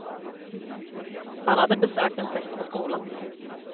Han hade besökt en fest på skolan.